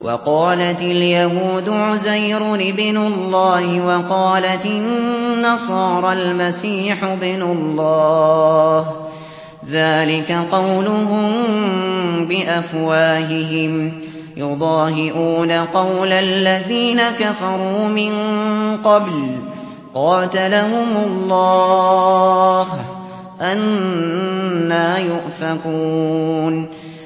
وَقَالَتِ الْيَهُودُ عُزَيْرٌ ابْنُ اللَّهِ وَقَالَتِ النَّصَارَى الْمَسِيحُ ابْنُ اللَّهِ ۖ ذَٰلِكَ قَوْلُهُم بِأَفْوَاهِهِمْ ۖ يُضَاهِئُونَ قَوْلَ الَّذِينَ كَفَرُوا مِن قَبْلُ ۚ قَاتَلَهُمُ اللَّهُ ۚ أَنَّىٰ يُؤْفَكُونَ